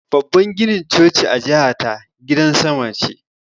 Babban ginin choci a jihata gidan sama ce